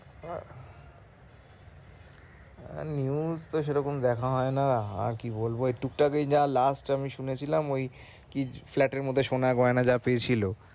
আহ news তো সেরকম দেখস হয় না আর কি বলব এই টুকটাক এই যা last আমি শুনে ছিলাম ওই কি flat এর মধ্যে সোনা গয়না পেয়েছিল